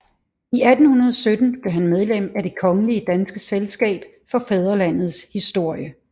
I 1817 blev han medlem af Det kongelige danske Selskab for Fædrelandets Historie